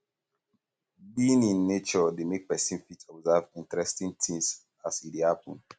being in um nature de make persin fit observe interesting things as e de happen